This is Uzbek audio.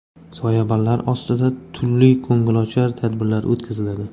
Soyabonlar ostida turli ko‘ngilochar tadbirlar o‘tkaziladi.